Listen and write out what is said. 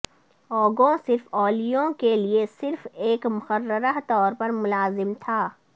Ugo صرف اویلیلو کے لئے صرف ایک مقررہ طور پر ملازم تھا